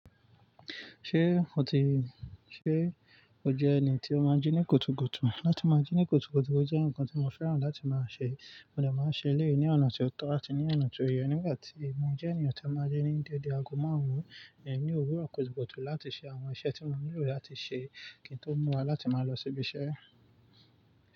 Ṣé o ti, ṣe o jẹ́ ẹni tí o máa ń jí ní kutu-kutu? Láti máa jí ní kutu-kutu jẹ́ ǹkan tí mo fẹ́ràn láti máa ṣe, mo dè máa ṣe léyìí ní ọ̀nà tí ó tọ́ àti ní ọ̀nà tí ó yẹ nígbà tí mo jẹ́ ènìyàn tó máa ń jí ní dédé ago márùn-ún, ẹ ní òwúrọ̀ kutu-kutu láti ṣe àwọn iṣẹ́ tí mo nílò láti ṣe kí n tó múra láti máa lọ síbi iṣẹ́.